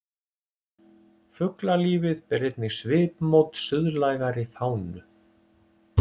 Fuglalífið ber einnig svipmót suðlægari fánu.